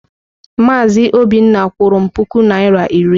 Maazị Obinna kwụrụ m puku naịra iri.